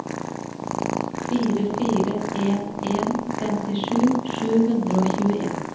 fire fire en en femtisju sju hundre og tjueen